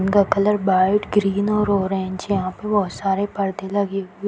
उनका colour white green और orange है यहां पर बहुत सारे परदे लगे हुए।